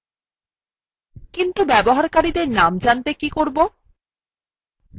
কিন্তু ব্যবহারকারীদের names জানতে কী করবো